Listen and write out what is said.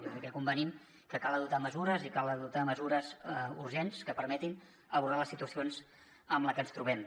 jo crec que convenim que cal adoptar mesures i cal adoptar mesures urgents que permetin abordar les situacions en què ens trobem